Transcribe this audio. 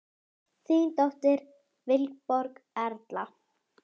Ég vil kyssa hana.